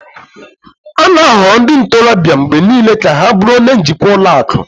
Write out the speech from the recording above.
a na-ahọrọ ndị ntorobịa mgbe niile ka ha bụrụ onye njikwa ụlọ akụ